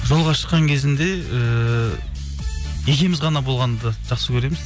жолға шыққан кезінде ііі екеуміз ғана болғанды жақсы көреміз